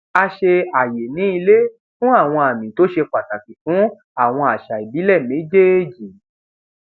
a ṣe àyè ní ílé fún àwọn àmì tó ṣe pàtàkì fún àwọn àṣà ìbílè méjèèjì